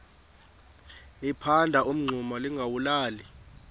liphanda umngxuma lingawulali